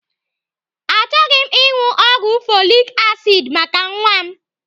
Achọghị m ịṅụ ọgwụ folik asid maka nwa m.